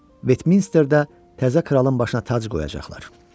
Vetminsterdə təzə kralın başına tac qoyacaqlar.